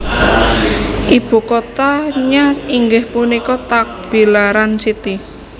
Ibu kotanya inggih punika Tagbilaran City